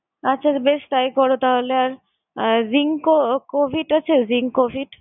আচ্ছা বেশ! তাই করো তাহলে। আর আহ rinco~ covid আছে আহ ring covid?